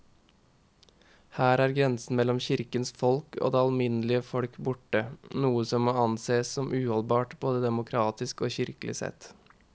Her er grensen mellom kirkens folk og det alminnelige folk borte, noe som må ansees som uholdbart både demokratisk og kirkelig sett.